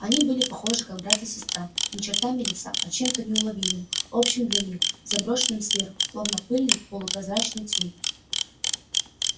они были похожи как брат и сестра не чертами лица а чем-то неуловимым общим для них заброшенным сверху словно пыльный полупрозрачный тюль